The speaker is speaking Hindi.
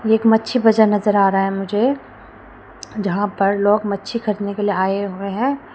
एक मच्छी बजार नजर आ रहा है मुझे जहां पर लोग मच्छी खरीदने के लिए आए हुए हैं।